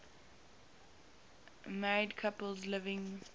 married couples living